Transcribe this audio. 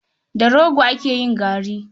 Da rogo ake yin gari.